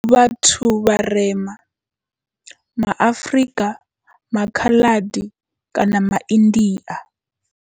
Vhathu vharema, ma Afrika, maKhaladi kana maIndia.